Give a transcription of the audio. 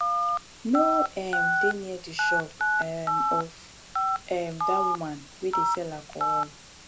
no um dey near the shop um of um dat woman wey dey sell alcohol